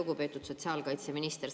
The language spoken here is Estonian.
Lugupeetud sotsiaalkaitseminister!